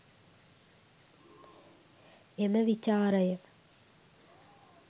එම විචාරය